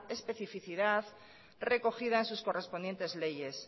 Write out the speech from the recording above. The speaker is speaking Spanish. especificidad recogida en sus correspondientes leyes